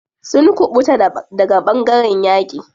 Sun kuɓuta daga ɓangaren yaƙi.